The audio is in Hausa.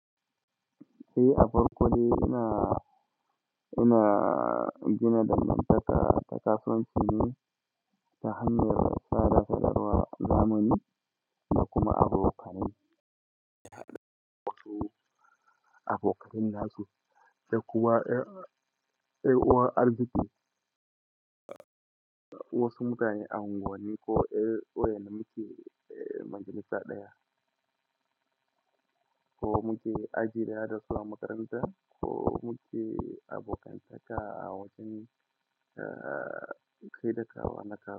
Eh, a farko dai ina, ina gina dangantaka ta kasuwanci ne ta hanyar sadarwa zamani da kuma abokanai, abokanai masu da kuwa, da kuma yan uwan arziki. Wasu mutane a anguwani ne ko, eh, waje muke, eh, majalisa ɗaya ko muke ajiyda da su a makaranta ko muke abokantaka a wajen, eh, kai daka wanakata.